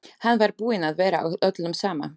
Hann var búinn að vera og öllum sama.